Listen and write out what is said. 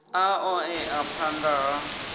a ṱo ḓea phanḓa ha